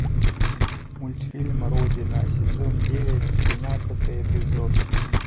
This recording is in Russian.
мультфильм родина сезон девять тринадцатый эпизод